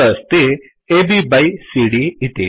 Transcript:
अत्र अस्ति AB by CD इति